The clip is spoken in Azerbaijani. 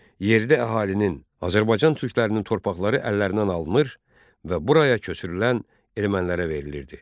Yerdə əhalinin, Azərbaycan türklərinin torpaqları əllərindən alınır və buraya köçürülən ermənilərə verilirdi.